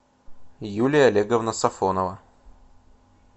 юлия олеговна сафонова